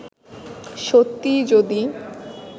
সত্যিই যদি